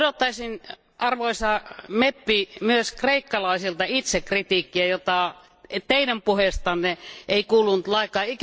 Odottaisin arvoisa parlamentin jäsen myös kreikkalaisilta itsekritiikkiä, jota Teidän puheestanne ei kuulunut lainkaan.